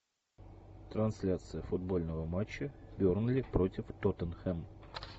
трансляция футбольного матча бернли против тоттенхэм